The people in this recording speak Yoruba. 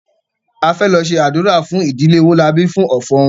A fẹ lọ ṣe ádùrá fún ìdílé Owólabí fún ọ̀fọ̀ wọn